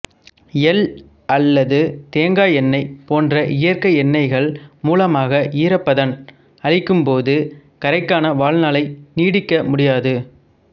எள் அல்லது தேங்காய் எண்ணெய் போன்ற இயற்கை எண்ணெய்கள் மூலமாக ஈரப்பதன் அளிக்கும் போது கறைக்கான வாழ்நாளை நீடிக்க முடியாது